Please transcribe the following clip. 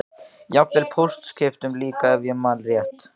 Jafnvel pólskiptum líka ef ég man rétt.